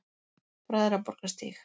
Bræðraborgarstíg